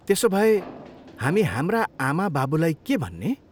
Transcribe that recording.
त्यसोभए, हामी हाम्रा आमाबाबुलाई के भन्ने?